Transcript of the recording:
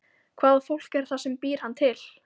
Hvaða fólk er það sem býr hann til?